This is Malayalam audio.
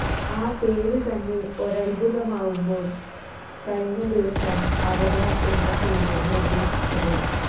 ആ പേര് തന്നെ ഒരത്ഭുതമാകുമ്പോൾ കഴിഞ്ഞ ദിവസം അവതാർ എന്ന പേര് നിർദേശിച്ചത്